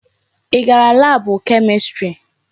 Ị gara laabụ Kemistri?